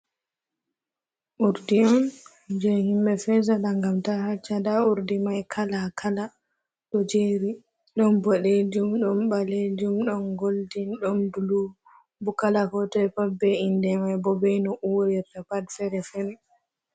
Urdi ni jee himɓe fesata gam ta hacca, nda urdi mai kala kala ɗo jeri, ɗon boɗejum, ɗom baleljum, ɗon goldin, ɗon bulu, bo kala kootoi pat be inde mai bo be no urirta pat fere fere.